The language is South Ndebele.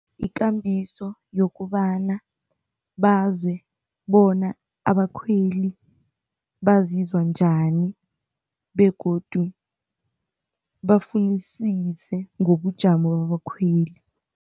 Ikambiso yokobana bazwe bona abakhweli bazizwa njani begodu bafunisise ngobujamo babakhweli.